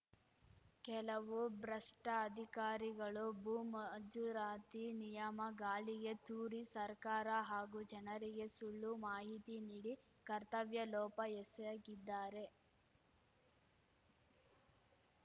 ಕೆಲವು ಭ್ರಷ್ಟಅಧಿಕಾರಿಗಳು ಭೂ ಮಂಜೂರಾತಿ ನಿಯಮ ಗಾಳಿಗೆ ತೂರಿ ಸರ್ಕಾರ ಹಾಗೂ ಜನರಿಗೆ ಸುಳ್ಳು ಮಾಹಿತಿ ನೀಡಿ ಕರ್ತವ್ಯ ಲೋಪ ಎಸಗಿದ್ದಾರೆ